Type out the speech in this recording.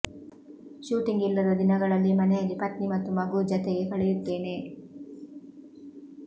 shooting ಇಲ್ಲದ ದಿನಗಳಲ್ಲಿ ಮನೆಯಲ್ಲಿ ಪತ್ನಿ ಮತ್ತು ಮಗು ಜತೆಗೆ ಕಳೆಯುತ್ತೇನೆ